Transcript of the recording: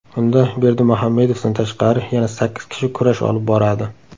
Unda, Berdimuhamedovdan tashqari, yana sakkiz kishi kurash olib boradi.